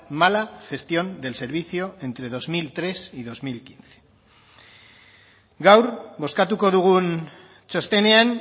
mala gestión del servicio entre dos mil tres y dos mil quince gaur bozkatuko dugun txostenean